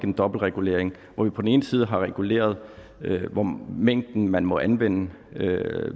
en dobbeltregulering hvor vi på den ene side har reguleret mængden man må anvende ved at